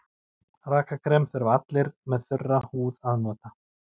Rakakrem þurfa allir með þurra húð að nota.